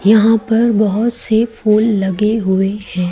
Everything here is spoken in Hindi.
यहां पर बहुत से फूल लगे हुए हैं।